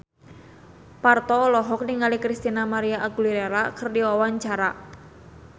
Parto olohok ningali Christina María Aguilera keur diwawancara